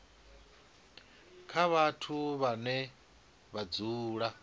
kha vhathu vhane vha dzula